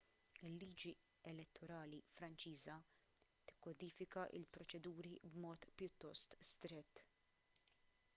il-liġi elettorali franċiża tikkodifika l-proċeduri b'mod pjuttost strett